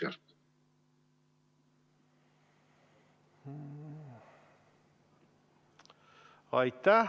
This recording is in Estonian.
Aitäh!